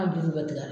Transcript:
A juru bɛ tigɛ